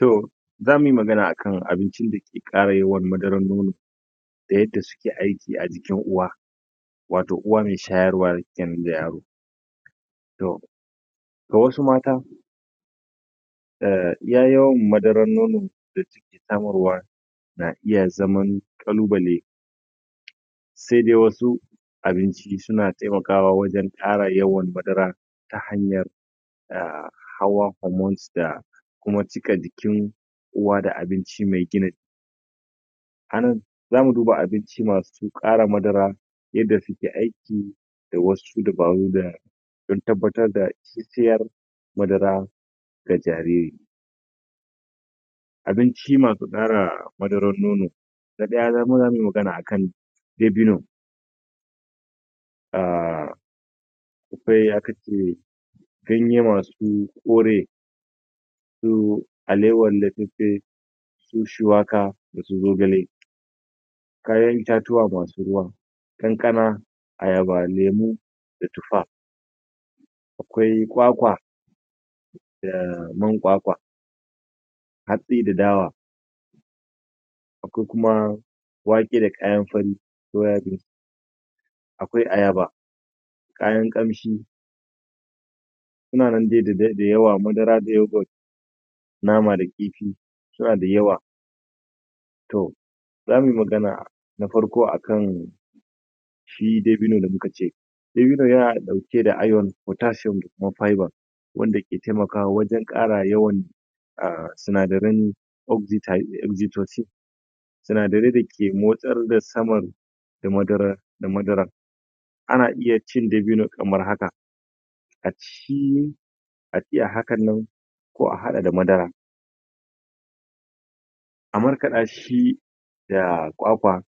To, Za mu yi magana akan abincin dake ƙara yawan madarar nono da yadda sukeaiki a jikin uwa, wato uwa mai shayarwa yanzu da yaro. To, to wa su mata ehh iya yawan madaran nono da su ke samarwa na iya zam ƙalubale sai dai wasu abinci suna taimakawa wajen tara yawan madara ta hanyar ahh hawa hormones da kuma cika jikin uwa da abinci mai gin jiki. Anan, za mu duba abinci masu ƙara madara, yadda suke aiki da wasu dabaru don tabbatar da ingantacciyar madara ga jariri. Abinci masu ƙara madarar Nono. Na ɗaya, zamu yimagana akan: Dabino. Ahh Akwai aka ce ganye masu kore, su alewan su shuwaka da su zogale. Kayan Itatuwa masu ruwa. Kankana, ayaba, lemo, da tufa. Akwai kwakwa, da man kwakwa, haɗɗi da dawa, ko kuma wake da kayan fari soya bean, akwai ayaba, kayan ƙamshi, suna nan dai da yawa, madara da yoghurt, nama da kifi, suna da yawa. To, zamuyi magana na farko akan.. Shi Dabini da muka ce Dabino, yana ɗauke da iron, potassium, da kuma fibre, wanda ke taimakawa wajen ƙara yawan ahh sinadaran oxitide da oxytrocin, sinadarai dake motsar da saman da madara. Ana iya cin dabino kamar haka, A ci shi haɗɗiya hakanan, ko a haɗa da madara. A markala shi da kwakwa,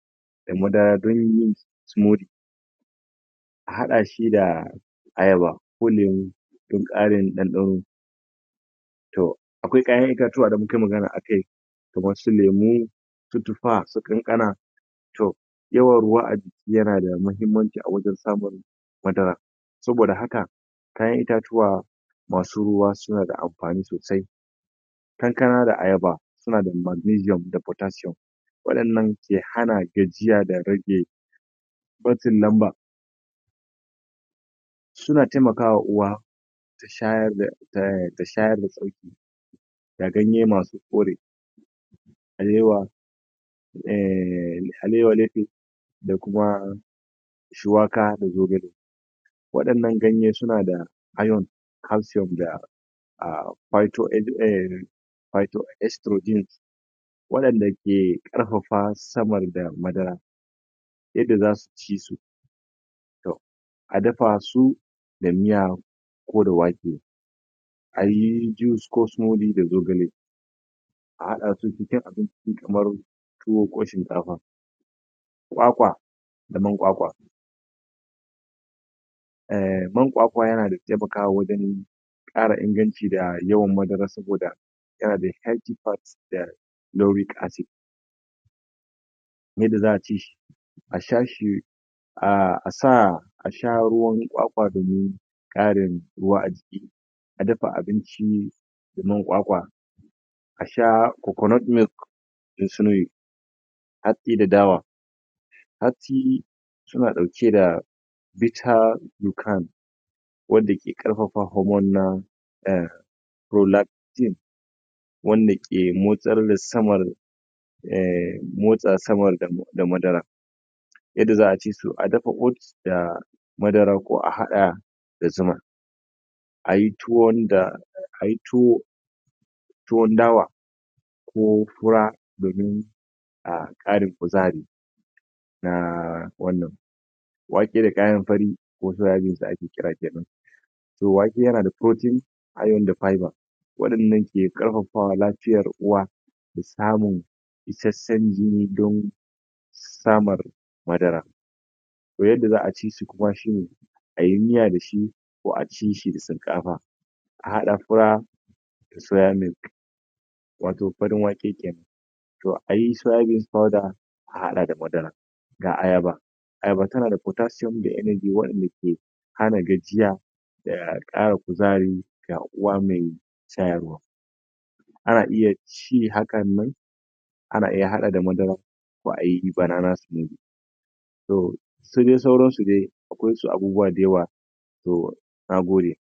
da madara don yin tsimiri a haɗa shi da ayaba ko lemo, don ƙarin ɗanɗano. To, akwai kayan itatuwa da mu kai magana akai, kamar su lemo, su su kankana, to, yawan ruwa a jiki yana da muhimmanci a wajen samun madara saboda haka, kayan itatuwa, masu ruwa suna da amfani sosai, kankana da ayaba, suna da magneium da potassium. Waɗannan ke hana gajiya da rage matsin lamba suna taimakawa uwa, ta shayar da sauƙi da ganye masu kore. harewa, ehhh alewa da kuma shuwaka da zogale. Waɗannan ganye suna da iron, calcium da ahhh fito.... pythoextrodin, waɗanda ke ke ƙarfafa samar da madara yadda za su ci su to, adafa su da miya ko da wake, ayi juice ko da zogale a haɗa su cikin abinci kamar tuwo ko shinkafa. Kwakwa, da man kwakwa. Ehh man kwakwa yana da taimakawa wajen ƙara inganci da yawan madara don saboda yana da healthy part nouric acid. Yadda za'a ci shi. A sha shi ahh a sa a sha ruwan kwakwa domin ƙarin ruwa a jiki, a dafa abinci da man kwakwa, a sha coconut milk Hatsi da Dawa, Hatsi suna suna ɗauke da Vita-u-cram waddake ƙarfafa hormones na, ehh proplaxin, wanda ke motsar da samar ehh motsa samar da madara. Yadda za'a ci su;a dafa oats da madara ko a haɗa da zuma. A yi tuwon da..Ayi tuwo tuwon dawa ko fura da nono, a ƙara kuzari. Naaaa wannan Wake da kayan fari ko sa yijin su ake kira kenan to wake yana da protein, iron da fibre, waɗan nan ke ƙarfafa lafiyar uwa, da samun isasshen jini don saamar madara. To yadda za'a ci su kuma shine ayi miya da shi ko a ci shio da shinkafa, a haɗa fura da soya milk wato farin wake kenan. To a yi soya beans powder, a haɗa da madara, da ayaba. Ayaba tana da potassium da energy waɗanda ke, hana gajiya, da ƙara kuzari da ga uwa mai shayarwa. Ana iya ci hakanan, ana iya haɗa da madara, ko ayi banana. So, su dai sauran su dai, akwai su abuuwa da yawa to, nagode.